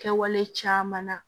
Kɛwale caman na